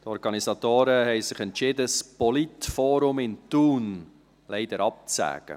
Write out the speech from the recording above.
Die Organisatoren haben sich entschieden, das Politforum in Thun leider abzusagen.